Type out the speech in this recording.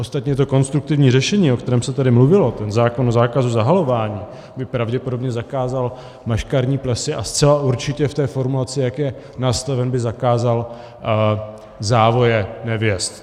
Ostatně to konstruktivní řešení, o kterém se tady mluvilo, ten zákon o zákazu zahalování, by pravděpodobně zakázal maškarní plesy a zcela určitě v té formulaci, jak je nastaven, by zakázal závoje nevěst.